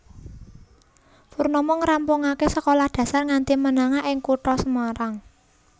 Purnomo ngrampungaké sekolah dasar nganti menengah ing kutha Semarang